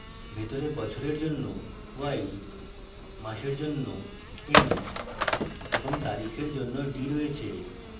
ভিতরে বছরের জন্য y মাসের জন্য m এবং তারিখের জন্য d রয়েছে